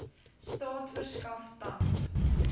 staat verskaf tand